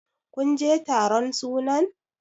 kun je taron sunan!